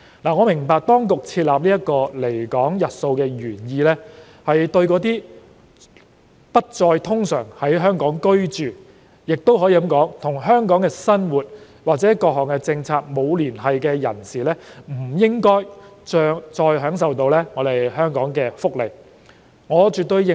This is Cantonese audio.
我明白當局設立這個離港日數的原意，是對那些不再通常在港居住，也可以說與香港生活及各項政策沒有連繫的人士，不應再享受香港的福利，我絕對認同。